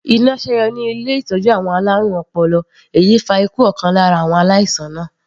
Iná sẹ́yọ ní ilé ìtọ́jú àwọn alárùn ọpọlọ èyí fa ikú ọ̀kan lára àwọn aláìsàn náà.